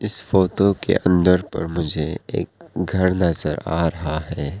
इस फोटो के अंदर पर मुझे एक घर नजर आ रहा है।